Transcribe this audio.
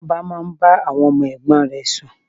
Tóbi máa ń bá àwọn ọmọ ẹ̀gbọ́n rè sùn.